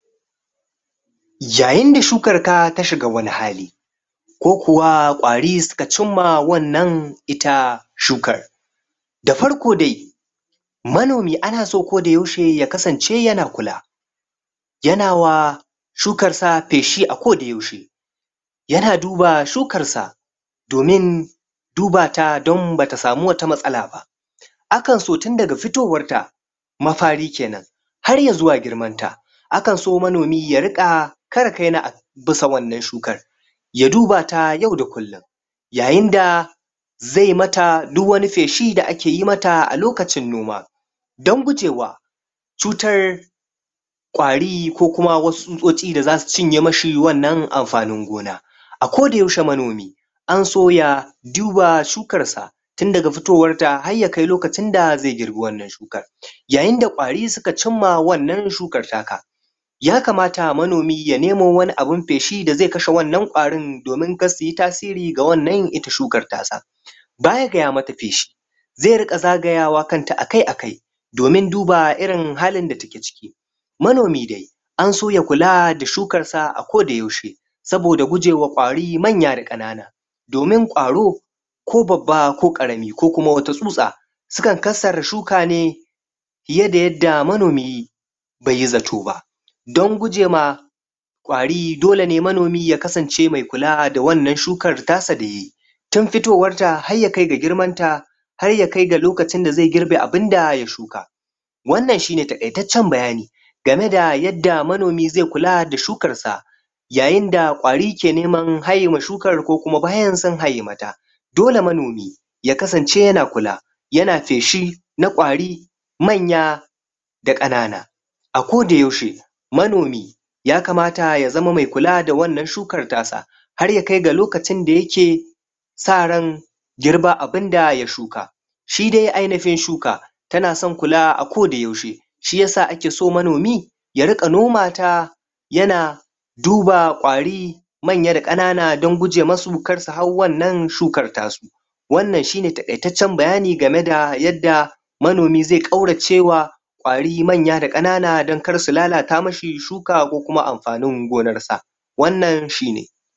yayin da shukar ka ta shiga wani hali ko kuwa kwari su ka ci ma wanna ita shukar da farko dai manomi ana so ko da yaushe ya kasance ya na kula ya na wa shukar sa feshi a ko da yaushe ya na duba shukar sa domin duba ta dan ba ta samu wata masala ba akan so tin da ga fitorwar ta mafari kenan har ya zuwa girman ta akan so manomi ya dinga? bisa wannan shuka ya duba ta yau da kulun yayin da zai mata duk wani feshi da ake yi mata a lokacin noma dan gujewa cutar cutar kwari ko kuma wasu susoci da zasu cinye mi shi wannan amfanin gona a ko da yaushe manomi an so ya duba shukar sa tin da ga fitowar ta har ya kai lokacin da zai girbi wannan shukar yayin da kwari su ka cima wannan shukar ta ka ya kamata manomi ya nemo wani feshi da zai kashe wannan kwarin domin kar su yi tasiri ga wannan ita shukar ta sa baya ga ya mata feshi zai riga zagayawa kan ta akai akai domin duba irin halin da ta ke ciki manomi dai an so ya kula da shukar sa a ko da yaushe soboda gujewa kwari manya da kanana domin kwaro ko babba ko karami ko kuma wata susa sa kan kasar shuka ne ya da yadda manomi bai yi zato ba dan gujema kwari dole ne manomi ya kasance mai kula da wannan shukar ta sa da ya yi tun fitowar ta har ya kai ga girman ta har ya kai ga lokacin da zai girbe abin da ya shuka wannanshi ne takaitancen bayani ga me da yadda manomi zai kula da shukar sa yayin da kwari ke neman haye ma shukar ko kuma bayan sun haye mata dole manomi ya kasance ya na kula, ya na feshi na kwari manya da kanana a ko da yaushe manomi ya kamata ya zama mai kula da wannan shukar ta sa har ya kai ga lokacin da ya ke sa rai girba abin da ya shuka shi dai ainihin shuka ya na son kula a ko da yaushe shi ya sa ake son manomi ya ringa noma ta ya na duba kwari manya da kanana dan guje ma su kar su hau wannan shukar ta su wannan shi ne takaitancen bayani ga me da yadda manomi zai kauracewa manya da kanana dan kar su lallata mi shi shuka ko kuma amfanin gonar sa wannan shi ne